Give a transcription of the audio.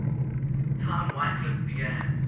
time wycliffe began